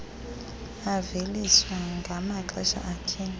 aveliswa ngamaxesha athile